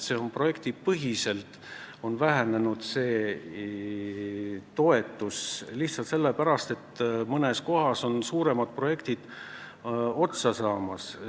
See käib projektipõhiselt ja see toetus on vähenenud lihtsalt selle pärast, et mõnes kohas on suuremad projektid otsa saamas.